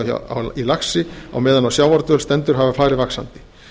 að afföll hjá laxi á meðan á sjávardvöl stendur hafa farið vaxandi